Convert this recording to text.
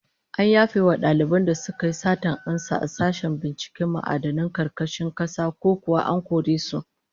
An yafe wa daliban da suka yi satar amsa a sashen binciken ma'adinan karkashin kasa, ko kuwa an kore su?